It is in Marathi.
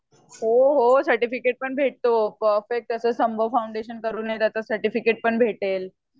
हो हो सर्टिफिकेट पण भेटतो फाउंडेशन केला की त्याच सर्टिफिकेट पण भेटेल